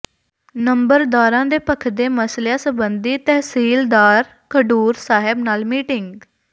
ਨੰਬਰਦਾਰਾਂ ਦੇ ਭੱਖਦੇ ਮਸਲਿਆਂ ਸਬੰਧੀ ਤਹਿਸੀਲਦਾਰ ਖਡੂਰ ਸਾਹਿਬ ਨਾਲ ਮੀਟਿੰਗ